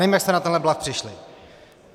Nevím, jak jste na tenhle bluf přišli.